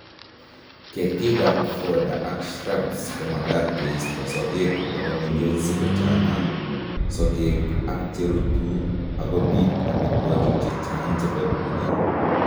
Ketikab fodder ak shrubskomakat keisto sogek kotakomengech si kochang'a sokek ak cherutu akobiit amitwokik che chang' chebo tuga